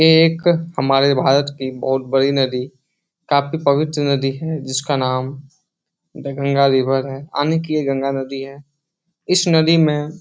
ये एक हमारे भारत की बहुत बड़ी नदी काफी पवित्र नदी है जिसका नाम द गंगा रिवर है आनी की ये गंगा नदी है । इस नदी में --